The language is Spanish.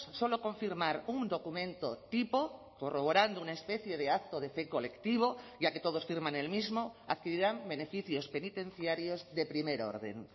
solo confirmar un documento tipo corroborando una especie de acto de fe colectivo ya que todos firman el mismo adquirirán beneficios penitenciarios de primer orden